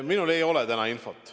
Minul ei ole täna infot.